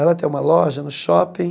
Ela tem uma loja no shopping,